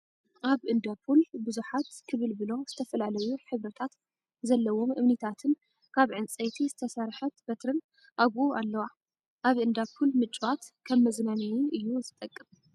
ኣብ እንዳ ፑል ብዝሓት ክብልብሎ ዝተፈላለዩ ሕብሪታት ዘለዎም እምኒታትን ካብ ዕንፀይቲ ዝተሰርሐት በትሪን ኣብኡ ኣለዋ። ኣብ እንዳፑል ምጭዋት ከም መዝናይ እዩ ዝጠቅም።